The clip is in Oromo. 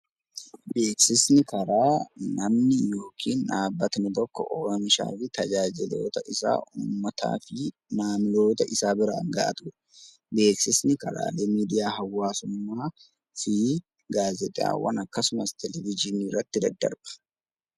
Beeksisni karaa namni yookiin dhaabbatni tokko oomisha isaa uummataa fi namoota isaa biraan gahatudha. Beeksisni karaa miidiyaa hawaasummaa gaazexaawwan akkasumas televizyiinii irratti daddarba.